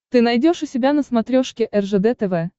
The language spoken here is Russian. ты найдешь у себя на смотрешке ржд тв